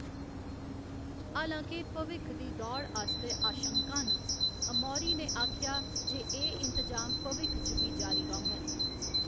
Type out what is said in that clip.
हालांके भविक्ख दी दौड़ आस्तै आशंकां न, अमौरी ने आखेआ जे एह्‌‌ इंतजाम भविक्ख च बी जारी रौह्‌‌‌ङन।